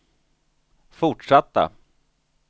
fortsatta